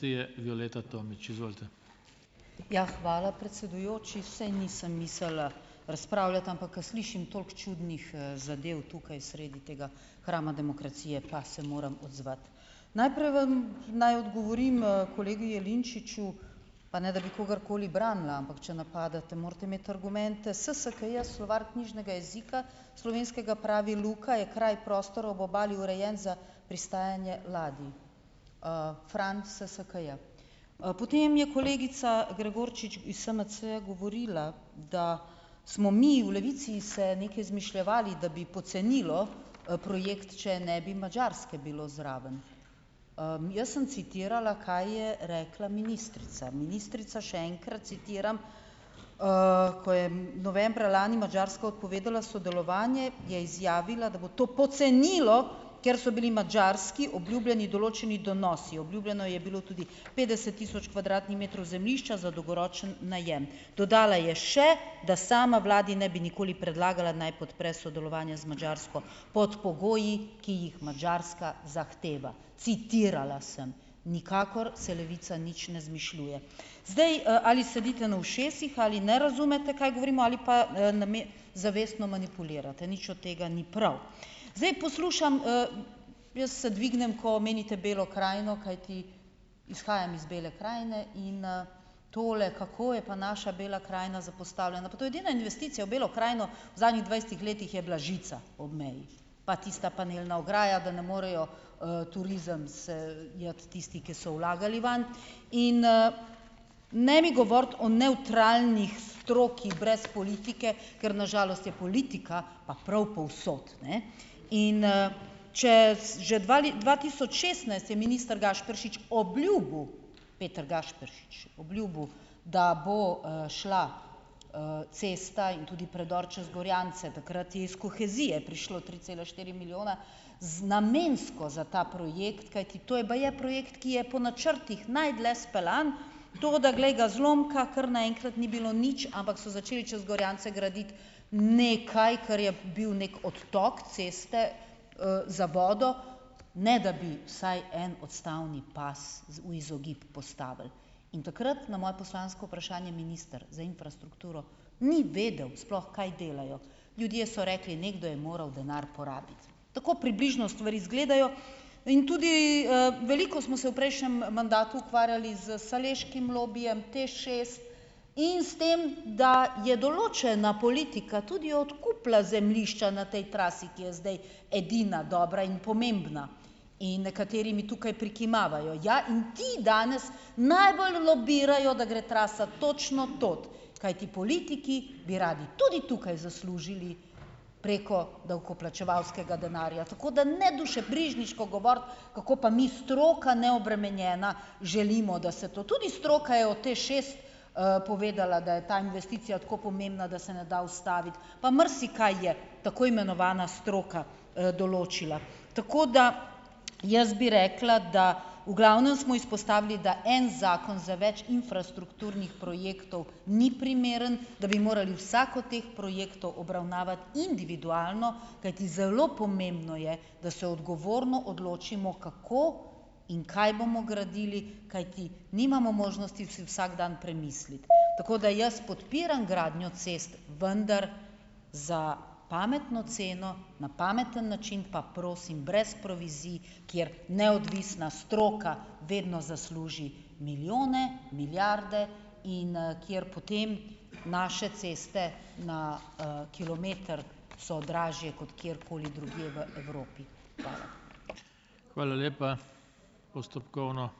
Ja hvala, predsedujoči. Saj nisem mislila razpravljati, ampak ko slišim toliko čudnih, zadev tukaj sredi tega hrama demokracije, pa se moram odzvati. Najprej vam naj odgovorim, kolegi Jelinčiču, pa ne da bi kogarkoli branila, ampak če napadate, morate imeti argumente. SSKJ, slovar knjižnega jezika slovenskega, pravi: "Luka je kraj, prostor ob obali, urejen za pristajanje ladij." Fran, SSKJ. Potem je kolegica Gregorčič iz SMC-ja govorila, da smo mi v Levici se nekaj izmišljevali, da bi pocenilo, projekt, če ne bi Madžarske bilo zraven. Jaz sem citirala kaj je rekla ministrica. Ministrica, še enkrat, citiram: "Ko je novembra lani Madžarska odpovedala sodelovanje, je izjavila, da bo to pocenilo, ker so bili Madžarski obljubljeni določeni donosi. Obljubljeno je bilo tudi petdeset tisoč kvadratnih metrov zemljišča za dolgoročni najem." Dodala je še, da "sama vladi ne bi nikoli predlagala, naj podpre sodelovanje z Madžarsko pod pogoji, ki jih Madžarska zahteva." Citirala sem. Nikakor se Levica nič ne izmišljuje. Zdaj, ali sedite na ušesih ali ne razumete, kaj govorimo, ali pa, zavestno manipulirate. Nič od tega ni prav. Zdaj poslušam, jaz se dvignem, ko omenite Belo krajino, kajti izhajam iz Bele krajine in, tole, kako je pa naša Bela krajina zapostavljena. Pa to je edina investicija v Belo krajino. V zadnjih dvajsetih letih je bila žica ob meji, pa tista panelna ograja, da ne morejo, turizem se iti tisti, ki so vlagali vanj. In, ... Ne mi govoriti o nevtralni stroki brez politike, ker na žalost je politika pa prav povsod, ne. In, ... Če, že dva dva tisoč šestnajst je minister Gašperšič obljubil, Peter Gašperšič, obljubil, da bo, šla, cesta in tudi predor čez Gorjance. Takrat je iz kohezije prišlo tri cela štiri milijona z namensko za ta projekt, kajti to je baje projekt, ki je po načrtih najdlje speljan. Toda glej ga zlomka, kar naenkrat ni bilo nič, ampak so začeli čez Gorjance graditi nekaj, ker je bil neki odtok ceste, za vodo, ne da bi vsaj en odstavni pas v izogib postavili. In takrat na moje poslansko vprašanje minister za infrastrukturo ni vedel sploh, kaj delajo. Ljudje so rekli, nekdo je moral denar porabiti. Tako približno stvari izgledajo. In tudi, veliko smo se v prejšnjem, mandatu ukvarjali s šaleškim lobijem, TEŠ, in s tem, da je določena politika tudi odkupila zemljišča na tej trasi, ki je zdaj edina dobra in pomembna. In nekateri mi tukaj prikimavajo. Ja, in ti danes najbolj lobirajo, da gre trasa točno tod. Kajti politiki bi radi tudi tukaj zaslužili preko davkoplačevalskega denarja. Tako ne dušebrižniško govoriti, kako pa mi, stroka neobremenjena, želimo, da se to, tudi stroka je od TEŠ, povedala, da je ta investicija tako pomembna, da se ne da ustaviti. Pa marsikaj je tako imenovana stroka, določila. Tako da jaz bi rekla, da v glavnem smo izpostavili, da en zakon za več infrastrukturnih projektov ni primeren, da bi morali vsak od teh projektov obravnavati individualno, kajti zelo pomembno je, da se odgovorno odločimo, kako in kaj bomo gradili. Kajti nimamo možnosti si vsak dan premisliti. Tako da jaz podpiram gradnjo cest, vendar za pametno ceno na pameten način, pa prosim brez provizij, kjer neodvisna stroka vedno zasluži milijone, milijarde, in, kjer potem naše ceste na, kilometer so dražje kot kjerkoli drugje v Evropi. Hvala.